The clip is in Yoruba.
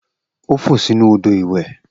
O fo sinu odo iwe.